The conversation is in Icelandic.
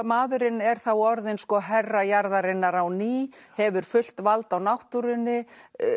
maðurinn er þá orðinn herra jarðarinnar á ný hefur fullt vald á náttúrunni